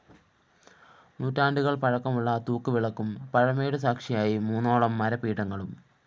നൂറ്റാണ്ടുകള്‍ പഴക്കമുള്ള തൂക്ക് വിളക്കും പഴമയുടെ സാക്ഷിയായി മൂന്നോളം മരപീഠങ്ങളും